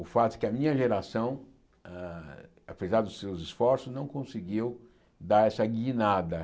O fato é que a minha geração, hã apesar dos seus esforços, não conseguiu dar essa guinada.